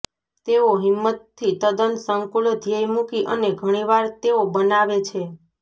તેઓ હિંમતથી તદ્દન સંકુલ ધ્યેય મૂકી અને ઘણી વાર તેઓ બનાવે છે